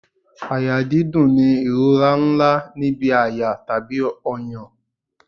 Àyà dídùn ni ìrora ńlá níbi àyà tàbí ọyàn.